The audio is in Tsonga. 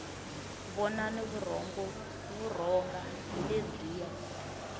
vonani vurhonga hi lebyiya